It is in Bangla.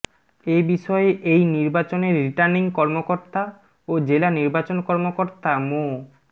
এ বিষয়ে এই নির্বাচনের রিটার্নিং কর্মকর্তা ও জেলা নির্বাচন কর্মকর্তা মো